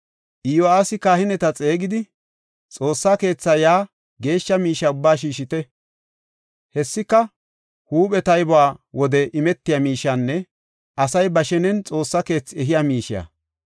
Iyo7aasi kahineta xeegidi, “Xoossa keetha yaa geeshsha miishe ubbaa shiishite. Hessika huuphe taybuwa wode imetiya miishiyanne asay ba shenen Xoossa keethi ehiya miishiya.